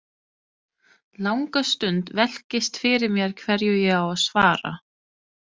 Langa stund velkist fyrir mér hverju ég á að svara.